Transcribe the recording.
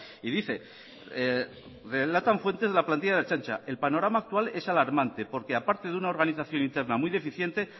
y dice relatan fuentes de la plantilla de la ertzaintza el panorama actual es alarmante porque a parte de una organización interna muy deficiente